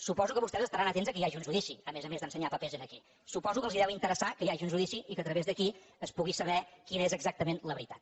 suposo que vostès estaran atents que hi hagi un judici a més a més d’ensenyar papers aquí suposo que els deu interessar que hi hagi un judici i que a través d’aquí es pugui saber quina és exactament la veritat